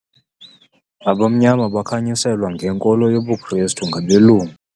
Abamnyama bakhanyiselwa ngenkolo yobuKrestu ngabelungu.